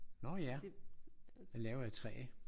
Nå ja! Den er lavet af træ